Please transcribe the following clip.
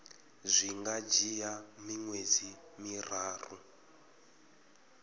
zwi nga dzhia miṅwedzi miraru